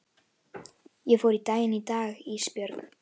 Ég fór í bæinn í dag Ísbjörg.